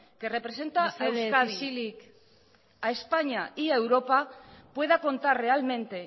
que representa a euskadi mesedez isilik a españa y a europa pueda contar realmente